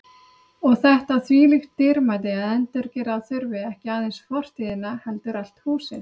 Og þetta þvílíkt dýrmæti að endurgera þurfti ekki aðeins fortíðina heldur allt húsið.